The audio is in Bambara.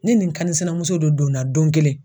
Ni ni n kan sinamuso dɔ donna don kelen.